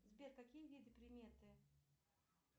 сбер какие виды приметы